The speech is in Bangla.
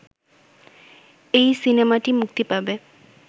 এই সিনেমাটি মুক্তি পাবে